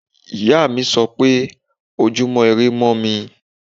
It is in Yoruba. Ìyáàmi sọ pé Ojúmọ́ irẹ mọ́ mi.